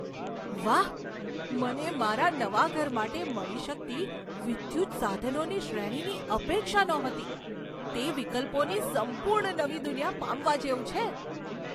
વાહ, મને મારા નવા ઘર માટે મળી શકતી વિદ્યુત સાધનોની શ્રેણીની અપેક્ષા નહોતી તે વિકલ્પોની સંપૂર્ણ નવી દુનિયા પામવા જેવું છે!